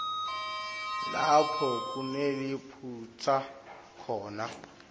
lapho kuneliphutsa khona